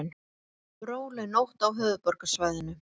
Róleg nótt á höfuðborgarsvæðinu